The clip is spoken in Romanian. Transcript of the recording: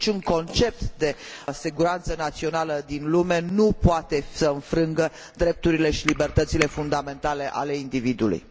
Niciun concept de siguranță națională din lume nu poate să încalce drepturile și libertățile fundamentale ale individului.